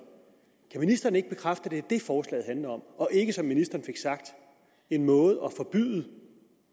kan ministeren ikke bekræfte at det er det forslaget handler om og ikke som ministeren fik sagt en måde at forbyde